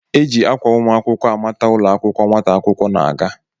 E ji akwa ụmụakwụkwọ amata ụlọakwụkwọ nwata akwụkwọ na-aga